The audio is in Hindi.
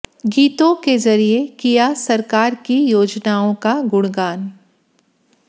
गीतों के जरिए किया सरकार की योजनाओं का गुणगान